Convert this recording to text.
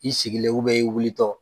I sigilen i wuli tɔ.